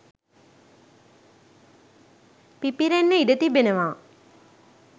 පිපිරෙන්න ඉඩ තිබෙනවා.